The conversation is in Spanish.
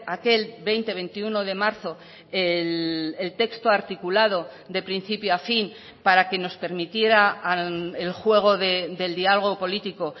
aquel veinte veintiuno de marzo el texto articulado de principio a fin para que nos permitiera el juego del diálogo político